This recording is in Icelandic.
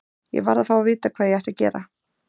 Ég varð að fá að vita hvað ég ætti að gera.